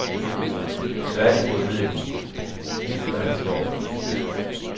Tværtimod ved de, hvad han står for.